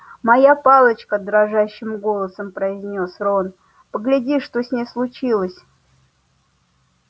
моя палочка дрожащим голосом произнёс рон погляди что с ней случилось